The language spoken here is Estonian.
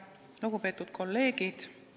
Lugupeetud kolleegid!